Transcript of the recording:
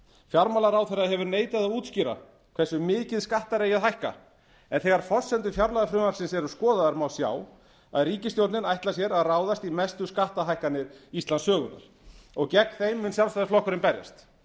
fjármálaráðherra hefur neitað að útskýra hversu mikið skattar eigi að hækka en þegar forsendur fjárlagafrumvarpsins eru skoðaðar má sjá að ríkisstjórnin ætlar sér að ráðast í mestu skattahækkanir íslandssögunnar og gegn þeim mun sjálfstæðisflokkurinn berjast